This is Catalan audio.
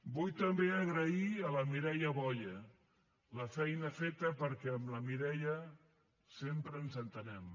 vull també agrair a la mireia boya la feina feta perquè amb la mireia sempre ens entenem